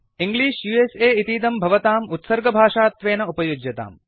English इतीदं भवताम् उत्सर्गभाषात्वेन उपयुज्यताम्